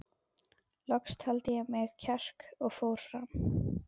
Loks taldi ég í mig kjark og fór fram.